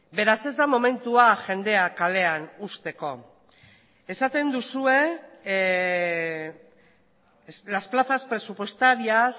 beraz ez da momentua jendea kalean uzteko esaten duzue las plazas presupuestarias